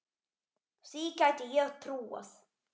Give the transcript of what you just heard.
Því gæti ég trúað